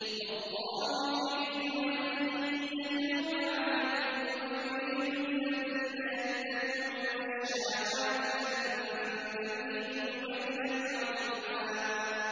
وَاللَّهُ يُرِيدُ أَن يَتُوبَ عَلَيْكُمْ وَيُرِيدُ الَّذِينَ يَتَّبِعُونَ الشَّهَوَاتِ أَن تَمِيلُوا مَيْلًا عَظِيمًا